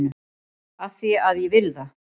AF ÞVÍ AÐ ÉG VIL ÞAÐ!